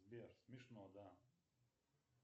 сбер смешно да